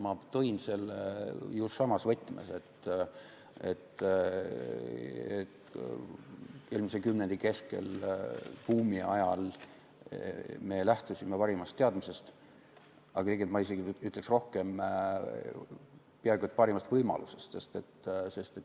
Ma tõin selle ju samas võtmes, et eelmise kümnendi keskel, buumi ajal me lähtusime parimast teadmisest, ma isegi ütleksin rohkem, peaaegu et parimast võimalusest.